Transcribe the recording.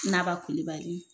Naba Kulibali